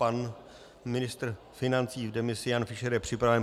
Pan ministr financí v demisi Jan Fischer je připraven.